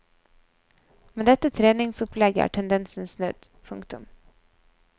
Med dette treningsopplegget er tendensen snudd. punktum